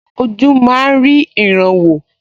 Ojú máa rí ìran wò